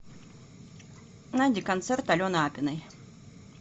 найди концерт алены апиной